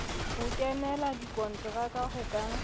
ho kenela dikonteraka ho ka